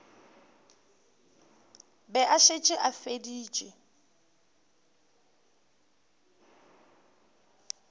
be a šetše a feditše